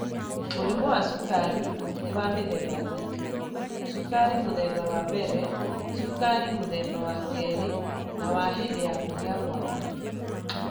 Mũrimũ wa cukari nĩ wa mĩthemba ĩtatũ: cukari mũthemba wa mbere, cukari mũthemba wa kerĩ, na wa hĩndĩ ya kũgĩa mwana.